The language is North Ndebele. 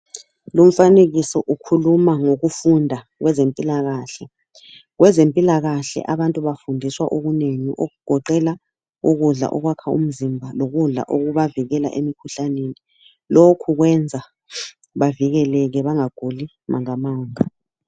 Lumfanekiso ukhuluma ngokufunda kwezempilakahle. Kwezempilakahle abantu bafundiswa okunengi okugoqela ukudla okwakha umzimba, lokudla okubavikela emikhuhlaneni. Lokhu kwenza bavikeleke bangaguli mangamanga.